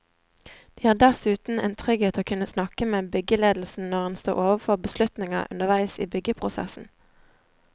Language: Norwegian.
Det gir dessuten en trygghet å kunne snakke med byggeledelsen når en står overfor beslutninger underveis i byggeprosessen.